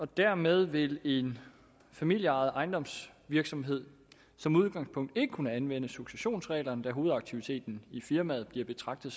dermed vil en familieejet ejendomsvirksomhed som udgangspunkt ikke kunne anvende successionsreglerne da hovedaktiviteten i firmaet bliver betragtet